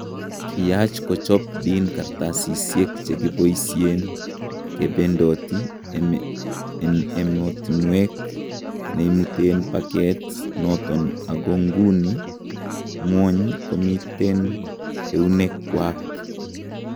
Kiyaach kochop Dean kartasisyeek chekiboisyeen kebendoti en emotinweek neimuteen pakeet noton ako nguni ngwony komiten ewuneek kwaak